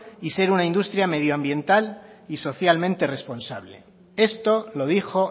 y ser una industria medioambiental y socialmente responsable esto lo dijo